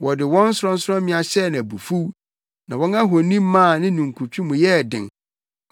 Wɔde wɔn sorɔnsorɔmmea hyɛɛ no abufuw na wɔn ahoni maa ne ninkutwe mu yɛɛ den.